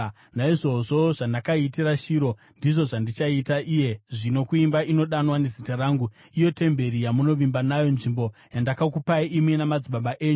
Naizvozvo, zvandakaitira Shiro ndizvo zvandichaita iye zvino kuimba inodanwa neZita rangu, iyo temberi yamunovimba nayo, nzvimbo yandakakupai imi namadzibaba enyu.